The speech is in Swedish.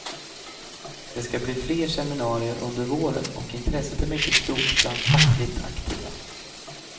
Det ska bli fler seminarier under våren, och intresset är mycket stort bland fackligt aktiva.